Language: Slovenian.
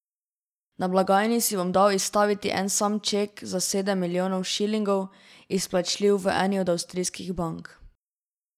Na blagajni si bom dal izstavit en sam ček za sedem milijonov šilingov, izplačljiv v eni od avstrijskih bank.